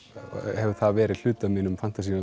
hefur það verið hluti af mínum fantasíum